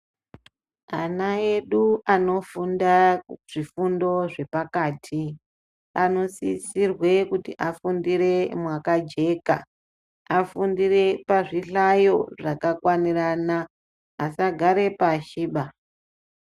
Ana edu ano funda kuzvi fundo zvepakati ano sisirwe kuti afundire maka jeka afundire pazvihlayo zvaka kwanirana asa gara pashi ba.